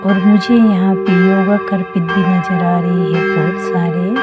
और मुझे यहां पे योगा कर नजर आ रहे बहुत सारे।